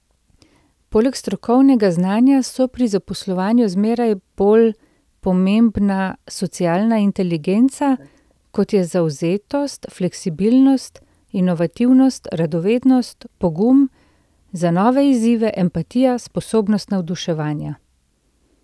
Poleg strokovnega znanja so pri zaposlovanju zmeraj bolj pomembna socialna inteligenca, kot je zavzetost, fleksibilnost, inovativnost, radovednost, pogum za nove izzive, empatija, sposobnost navduševanja.